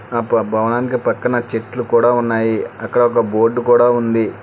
ఆప భవానికి పక్కన చెట్లు కూడా ఉన్నాయి అక్కడ ఒక బోర్డు కూడా ఉంది.